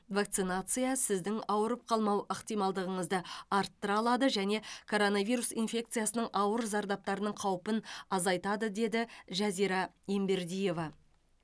вакцинация сіздің ауырып қалмау ықтималдығыңызды арттыра алады және коронавирус инфекциясының ауыр зардаптарының қаупін азайтады деді жазира ембердиева